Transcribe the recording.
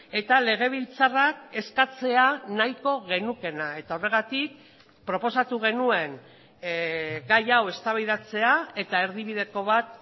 eta legebiltzarrak eskatzea nahiko genukeena eta horregatik proposatu genuen gai hau eztabaidatzea eta erdibideko bat